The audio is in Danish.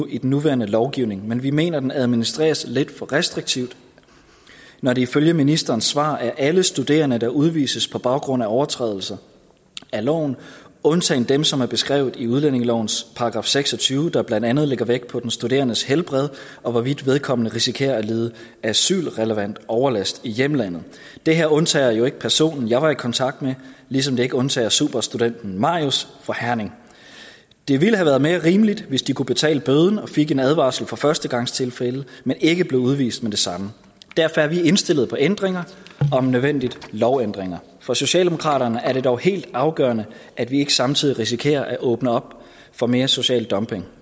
i den nuværende lovgivning men vi mener at den administreres lidt for restriktivt når det ifølge ministerens svar er alle studerende der udvises på baggrund af overtrædelse af loven undtagen dem som er beskrevet i udlændingelovens § seks og tyve der blandt andet lægger vægt på den studerendes helbred og hvorvidt vedkommende risikerer at lide asylrelevant overlast i hjemlandet det her undtager jo ikke personen jeg var i kontakt med ligesom det ikke undtager superstudenten marius fra herning det ville have været mere rimeligt hvis de kunne betale bøden og fik en advarsel for førstegangstilfælde men ikke blev udvist med det samme derfor er vi indstillet på ændringer om nødvendigt lovændringer for socialdemokraterne er det dog helt afgørende at vi ikke samtidig risikerer at åbne op for mere social dumping